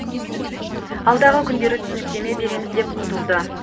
алдағы күндері түсініктеме береміз деп құтылды